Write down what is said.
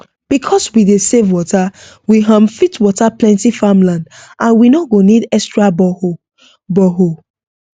because we dey save water we um fit water plenty farm land and we no go need extra borehole borehole